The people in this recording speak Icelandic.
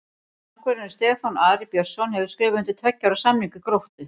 Markvörðurinn Stefán Ari Björnsson hefur skrifað undir tveggja ára samning við Gróttu.